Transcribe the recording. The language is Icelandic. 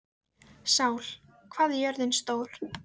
Sál, hvað er jörðin stór?